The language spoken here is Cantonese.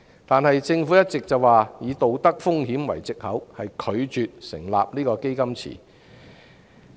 然而，政府一直以"道德風險"為藉口，拒絕成立"基金池"。